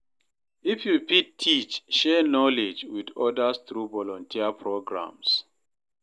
If yu fit teach, share knowledge with odas tru volunteer programs.